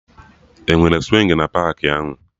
Enwere swingi na paakị ahụ